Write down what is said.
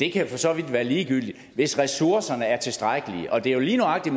kan for så vidt være ligegyldigt hvis ressourcerne er tilstrækkelige og det er jo lige nøjagtig